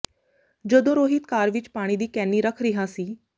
ਜਦੋਂ ਰੋਹਿਤ ਕਾਰ ਵਿੱਚ ਪਾਣੀ ਦੀ ਕੈਨੀ ਰੱਖ ਰਿਹਾ ਸੀ